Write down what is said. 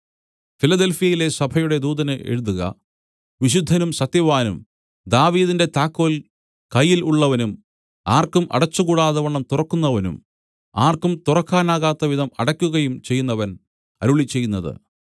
ഫിലദെൽഫ്യയിലെ സഭയുടെ ദൂതന് എഴുതുക വിശുദ്ധനും സത്യവാനും ദാവീദിന്റെ താക്കോൽ കയ്യിൽ ഉള്ളവനും ആർക്കും അടച്ചുകൂടാതവണ്ണം തുറക്കുന്നവനും ആർക്കും തുറക്കാനാകാത്ത വിധം അടയ്ക്കുകയും ചെയ്യുന്നവൻ അരുളിച്ചെയ്യുന്നത്